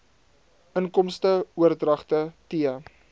inkomste oordragte t